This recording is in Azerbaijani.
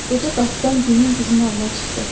Qoca qapıdan günün qızmarına çıxdı.